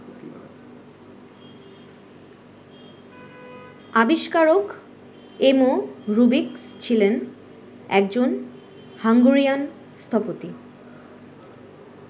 আবিষ্কারক এমো রুবিকস ছিলেন একজন হাঙ্গেরিয়ান স্থপতি।